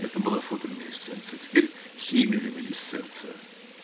это было фотолюминесценция теперь хемилюминесценция